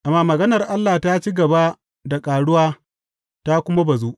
Amma maganar Allah ta ci gaba da ƙaruwa ta kuma bazu.